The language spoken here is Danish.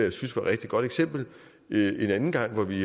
et rigtig godt eksempel en anden gang hvor det